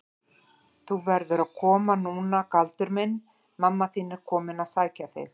Þú verður að koma núna Galdur minn, mamma þín er komin að sækja þig.